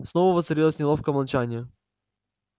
снова воцарилось неловкое молчание